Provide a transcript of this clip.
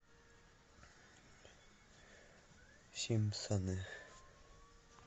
симпсоны